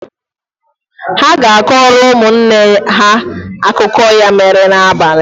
Ude ga-akọrọ ụmụ nne ya akụkọ ya mere n’abalị